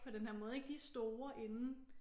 På den her måde ik de er store inden